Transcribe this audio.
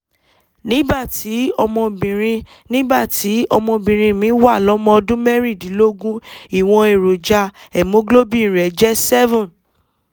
nígbà tí ọmọbìnrin nígbà tí ọmọbìnrin mi wà lọ́mọ ọdún mẹ́rìndínlógún ìwọ̀n èròjà hemoglobin rẹ̀ jẹ́ seven